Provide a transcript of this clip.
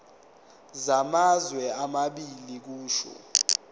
samazwe amabili kusho